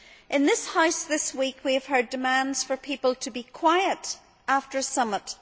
In this House this week, we have heard demands for people to be quiet after a summit.